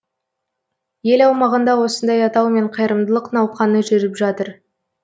ел аумағында осындай атаумен қайырымдылық науқаны жүріп жатыр